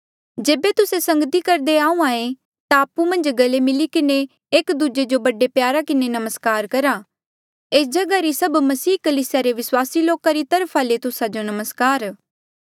जेबे तुस्से संगती करदे आहूँआं ऐें ता आपु मन्झ गले मिली किन्हें एक दूजे जो बड़े प्यारा किन्हें नमस्कार करा एस जगहा री सभ मसीह कलीसिया रे विस्वासी लोका री तरफा ले तुस्सा जो नमस्कार